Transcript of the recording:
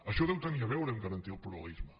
això deu tenir a veure amb garantir el pluralisme